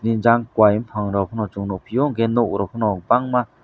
jang kowai bopang rok pono chong nogpio hingke nog rok pono bangma.